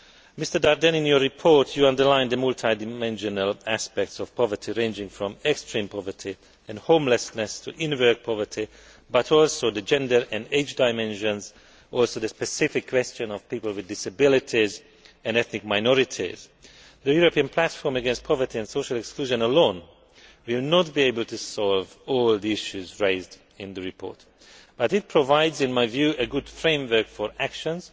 Mr Daerden, in your report you underlined the multidimensional aspects of poverty, ranging from extreme poverty and homelessness to in work poverty, but also the gender and age dimensions, and the specific questions of people with disabilities and ethnic minorities. The European Platform against Poverty and Social Exclusion alone will not be able to solve all the issues raised in the report, but it provides, in my view, a good framework for actions,